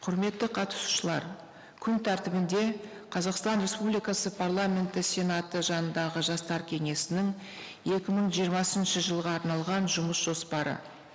құрметті қатысушылар күн тәртібінде қазақстан республикасы парламенті сенаты жанындағы жастар кеңесінің екі мың жиырмасыншы жылға арналған жұмыс жоспары